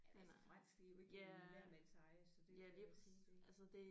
Altså fransk det er jo ikke en hvermandseje så det er jo sin del